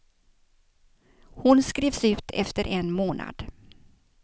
Hon skrevs ut efter en månad.